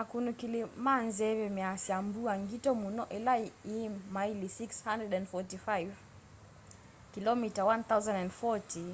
akunikili ma nzeve measya mbua ngito mũno ila yi maili 645 kĩlomita 1040